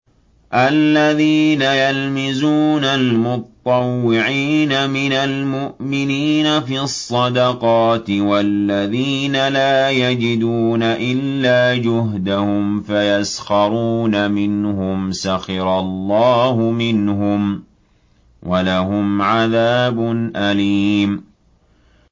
الَّذِينَ يَلْمِزُونَ الْمُطَّوِّعِينَ مِنَ الْمُؤْمِنِينَ فِي الصَّدَقَاتِ وَالَّذِينَ لَا يَجِدُونَ إِلَّا جُهْدَهُمْ فَيَسْخَرُونَ مِنْهُمْ ۙ سَخِرَ اللَّهُ مِنْهُمْ وَلَهُمْ عَذَابٌ أَلِيمٌ